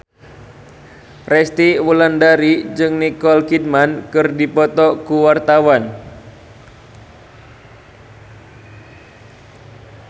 Resty Wulandari jeung Nicole Kidman keur dipoto ku wartawan